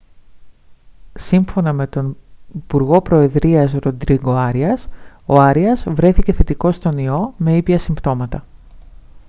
σύμφωνα με τον υπουργό προεδρίας ροντρίγκο άριας ο άριας βρέθηκε θετικός στον ιό με ήπια συμπτώματα